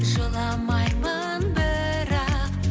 жыламаймын бірақ